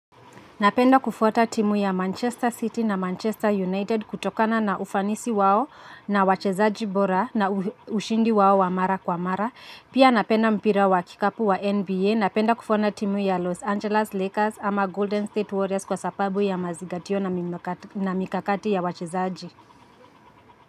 Napenda kufuata timu ya Manchester City na Manchester United kutokana na ufanisi wao na wachezaji bora na ushindi wao wa mara kwa mara. Pia napenda mpira wa kikapu wa NBA. Napenda kufuata timu ya Los Angeles Lakers ama Golden State Warriors kwa sababu ya mazigatio na mikakati ya wachezaji.